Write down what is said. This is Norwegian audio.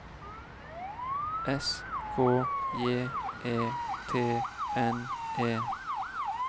S K J E T N E